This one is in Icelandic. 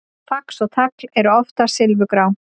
Fax og tagl eru oftast silfurgrá.